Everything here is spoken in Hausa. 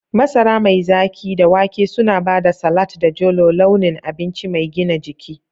Masara mai zaki da wake suna ba da salat da jolo launin abinci mai gina jiki.